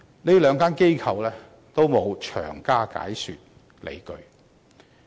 這兩間機構均沒有詳加解說理據。